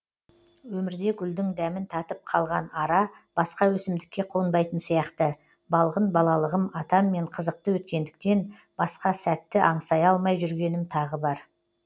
өмірде гүлдің дәмін татып қалған ара басқа өсімдікке қонбайтын сияқты балғын балалығым атаммен қызықты өткендіктен басқа сәтті аңсай алмай жүргенім тағы бар